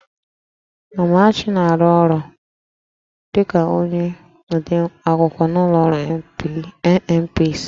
Amarachi na-arụ ọrụ dịka onye odeakwụkwọ n'ụlọ ọrụ NNPC